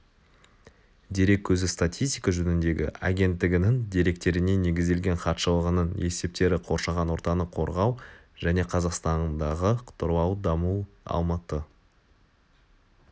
дерек көзі статистика жөніндегі агенттігінің деректеріне негізделген хатшылығының есептері қоршаған ортаны қорғау және қазақстандағы тұрлаулы даму алматы